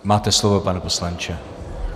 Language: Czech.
Máte slovo, pane poslanče.